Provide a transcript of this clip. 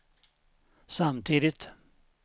samtidigt